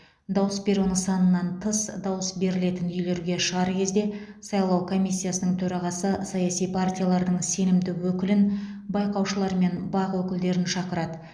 дауыс беру нысанынан тыс дауыс берілетін үйлерге шығар кезде сайлау комиссиясының төрағасы саяси партиялардың сенімді өкілін байқаушылар мен бақ өкілдерін шақырады